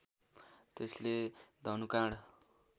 त्यसले धनुकाँड